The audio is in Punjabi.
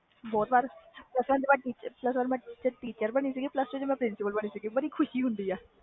ਬਹੁਤ ਵਾਰ plus one ਵਿਚ teacher ਬਾਣੀ ਸੀ ਤੇ plus two ਵਿਚ principal ਤੇ ਬਹੁਤ ਖੁਸ਼ੀ ਹੋਈ ਸੀ